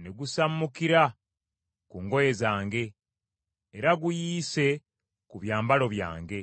ne gusammukira ku ngoye zange, era guyiise ku byambalo byange.